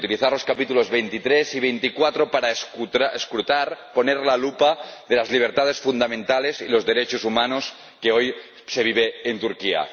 Utilizar los capítulos 23 y 24 para escrutar, poner la lupa sobre la situación de las libertades fundamentales y los derechos humanos que hoy se vive en Turquía.